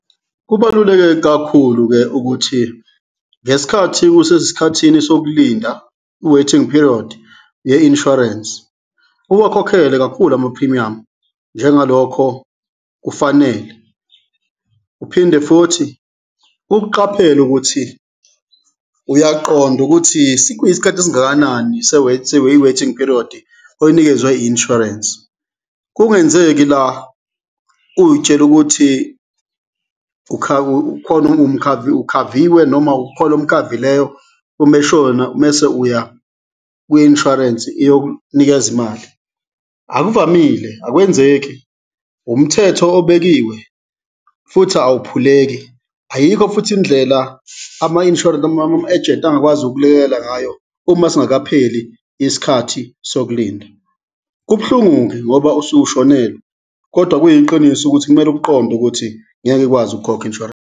Kubaluleke kakhulu-ke ukuthi ngesikhathi usesikhathini sokulinda, i-waiting period ye-insurance, uwakhokhele kakhulu amaphrimiyamu njengalokho kufanele uphinde futhi ukuqaphele ukuthi uyaqonda ukuthi sikuyisikhathi esingakanani i-waiting period oyinikezwe i-insurance. Kungenzeki la uy'tshele ukuthi ukhaviwe noma ukhona omkhavileyo, uma eshona mese uya kwi-insurance-i iyok'nikeza imali, akuvamile, akwenzeki, umthetho obekiwe futhi awuphuleki, ayikho futhi indlela ama-insurance noma ama-agent angakwazi ukukulekelela ngayo uma singakapheli isikhathi sokulinda. Kubuhlungu-ke ngoba usuke ushonelwe kodwa kuyiqiniso ukuthi kumele ukuqonde ukuthi ngeke ikwazi ukukhokha i-insurance.